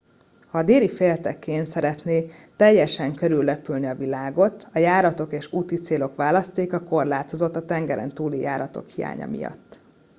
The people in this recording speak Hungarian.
ha a déli féltekén szeretné teljesen körülrepülni a világot a járatok és úti célok választéka korlátozott a tengerentúli járatok hiánya miatt